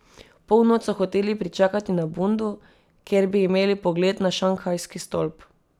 Polnoč so hoteli pričakati na Bundu, kjer bi imeli pogled na Šanghajski stolp.